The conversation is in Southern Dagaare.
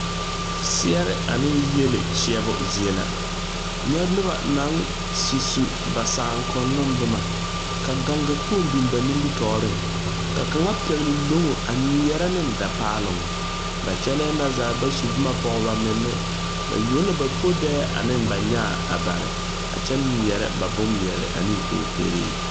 Seɛɛre aneŋ yiele kyɛɛbo zie la nyɛ nobɔ naŋ su su ba saakoŋnoŋ bomma ka gaŋgakpoŋ biŋ ba nimitooreŋ ka kaŋa pɛgle loŋo a ngmeɛrɛ neŋ da paaloŋ ba kyɛlɛɛ na zaa ba su bomma pɔg ba menne ba yuo la podɛɛ aneŋ ba nyaa a bare a kyɛ ngmeɛrɛ ba bon ngmeɛɛre aneŋ kookeree.